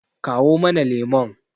kawo mana lemon!